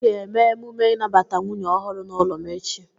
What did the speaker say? Ị ga-eme emume inabata nwunye ọhụrụ n'ụlọ m echi!